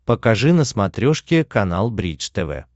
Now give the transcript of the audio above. покажи на смотрешке канал бридж тв